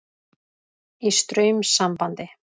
Í straumsambandi.